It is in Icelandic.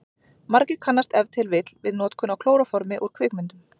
Margir kannast ef til vill við notkun á klóróformi úr kvikmyndum.